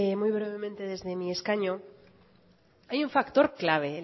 muy brevemente desde mi escaño hay un factor clave